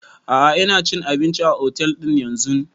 A'a ina cin abinci a otel din yanzun